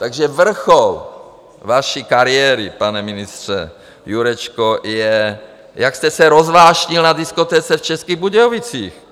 Takže vrchol vaší kariéry, pane ministře Jurečko, je, jak jste se rozvášnil na diskotéce v Českých Budějovicích.